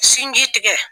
Sinji tigɛ